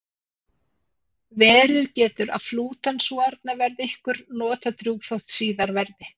Verið getur að fleytan sú arna verði ykkur notadrjúg þótt síðar verði.